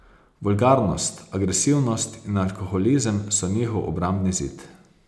Vulgarnost, agresivnost in alkoholizem so njihov obrambni zid.